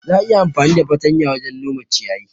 Za'a iya amfani da fartanya wajen nome ciyayi.